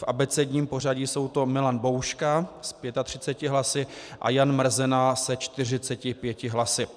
V abecedním pořadí jsou to Milan Bouška s 35 hlasy a Jan Mrzena se 45 hlasy.